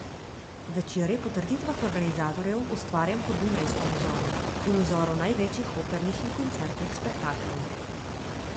Večer je po trditvah organizatorjev ustvarjen po dunajskem vzoru in vzoru največjih opernih in koncertnih spektaklov.